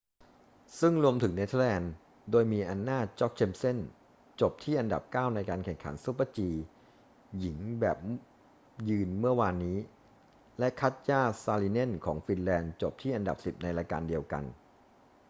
ซึ่งรวมถึงเนเธอร์แลนด์ โดยมี anna jochemsen จบที่อันดับเก้าในการแข่งขัน super-g หญิงแบบยืนเมื่อวานนี้ และ katja saarinen ของฟินแลนด์จบที่อันดับสิบในรายการเดียวกัน